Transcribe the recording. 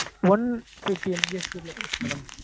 one fifty MBPS speed ல கிடைக்கும் madam